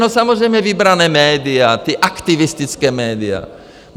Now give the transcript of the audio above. No samozřejmě vybraná média, ta aktivistická média.